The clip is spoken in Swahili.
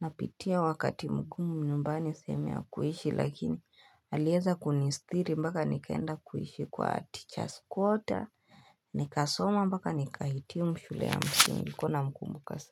Napitia wakati mngumu nyumbani sehemu ya kuishi lakini alieza kunistiri mpaka nikaenda kuishi kwa teachers quarter Nikasoma mpaka nikahitimu shule ya msingi kuwa namkumbuka sana.